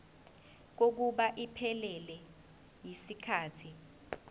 kokuba iphelele yisikhathi